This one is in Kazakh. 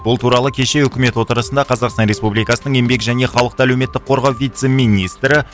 бұл туралы кеше өкімет отырысында қазақстан республикасының еңбек және халықты әлеуметтік қорғау вице министрі